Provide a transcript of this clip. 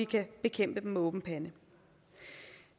kan bekæmpe dem med åben pande